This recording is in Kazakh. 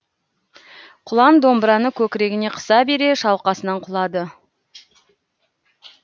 кұлан домбыраны көкірегіне қыса бере шалқасынан құлады